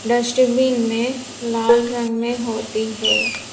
Dustbin में लाल रंग में होती हैं।